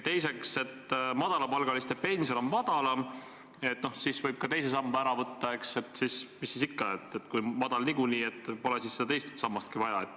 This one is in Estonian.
Teiseks, et kuna madalapalgaliste inimeste pension on väiksem, siis võibki teise samba ära võtta – mis siis ikka, kui pension on niikuinii väike, pole siis seda teist sammast ka vaja.